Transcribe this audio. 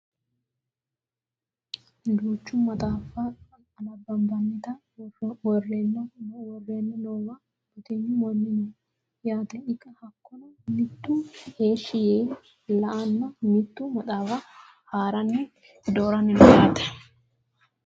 duucha maxxaaffa anabbanabannita worreenna noowa batinyu manni no yaate hakkono mitu heeshshi yee la'anni mitu maxaafa haaranni dooranni no yaate